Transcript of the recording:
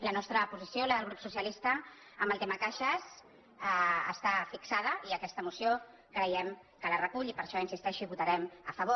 la nostra posició la del grup socialista en el tema caixes està fixada i aquesta moció creiem que la re·cull i per això hi insisteixo hi votarem a favor